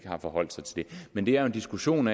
har forholdt sig til det men det er jo en diskussion